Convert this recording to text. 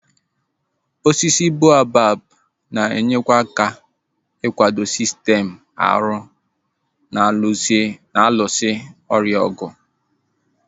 Osisi boabab na-enyekwa aka ikwado sistem ahụ na-alụso ọrịa ọgụ